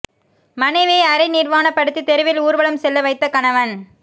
மனைவியை அரை நிர்வாணப்படுத்தி தெருவில் ஊர்வலம் செல்ல வைத்த கணவன்